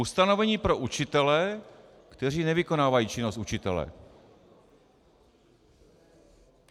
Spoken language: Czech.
Ustanovení pro učitele, kteří nevykonávají činnost učitele.